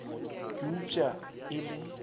ka eupša ge e le